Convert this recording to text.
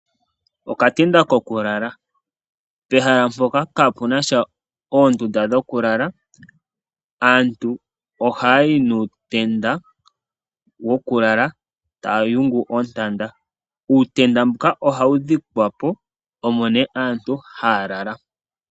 Okatenda kokulala. Pehala mpoka kapena oondunda dhokulala aantu ohayayi nuutenda wokulala taya yungu oontanda. Uutenda mbuka ohawu dhikwapo omo nee aantu haya lala.